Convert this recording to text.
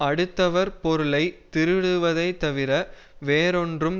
அடுத்தவர் பொருளை திருடுவதைத் தவிர வேறொன்றும்